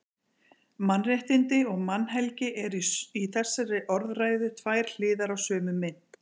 Mannréttindi og mannhelgi eru í þessari orðræðu tvær hliðar á sömu mynt.